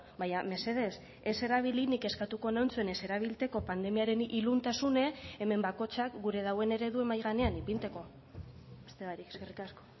baina mesedez ez erabili nik eskatuko neutzon ez erabiltzeko pandemiaren iluntasune hemen bakoitzak gure dauen eredua mahai gainean ipintzeko beste barik eskerrik asko